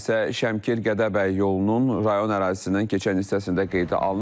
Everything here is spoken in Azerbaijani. Hadisə Şəmkir-Gədəbəy yolunun rayon ərazisindən keçən hissəsində qeydə alınıb.